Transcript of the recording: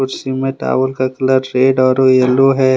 जिसमें टावल का colour red और येलो है।